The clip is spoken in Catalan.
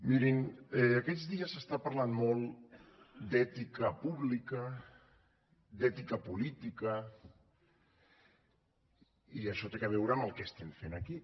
mirin aquests dies s’està parlant molt d’ètica pública d’ètica política i això té a veure amb el que estem fent aquí